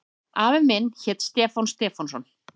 Afi minn hét Stefán Stefánsson.